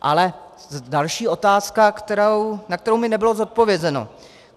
Ale další otázka, na kterou mi nebylo odpovězeno.